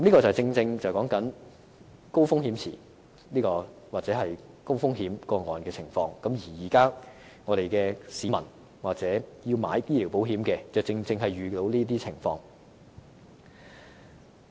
這正正說明高風險池或高風險個案的情況，而現在的市民或想購買醫療保險的人也正正遇上這些情況。